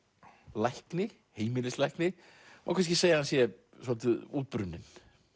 lækni heimilislækni má kannski segja að hann sé svolítið útbrunninn